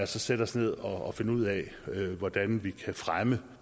sætte os ned og finde ud af hvordan vi kan fremme